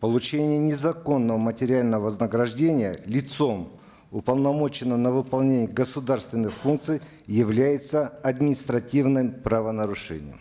получение незаконного материального вознаграждения лицом уполномоченным на выполнение государственных функций является административным правонарушением